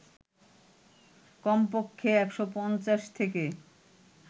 কমপক্ষে ১৫০ থেকে